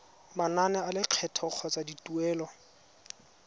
manane a lekgetho kgotsa dituelo